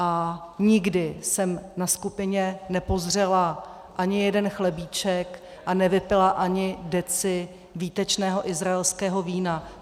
A nikdy jsem na skupině nepozřela ani jeden chlebíček a nevypila ani deci výtečného izraelského vína.